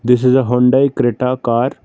this is a hyundai creta car.